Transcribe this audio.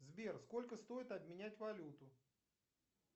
сбер сколько стоит обменять валюту